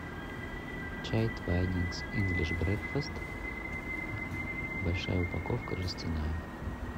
чай твайнингс инглиш брекфест большая упаковка жестяная